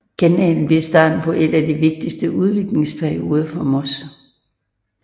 Kanalen blev starten på en af de vigtigste udviklingsperioder for Moss